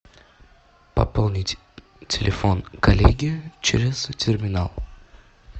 пополнить телефон коллеги через терминал